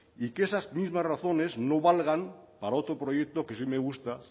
y que esas mismas razones no valgan para otro proyecto que sí me gusta